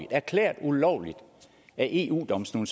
erklæret ulovligt af eu domstolen